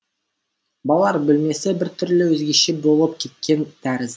балалар бөлмесі біртүрлі өзгеше болып кеткен тәріз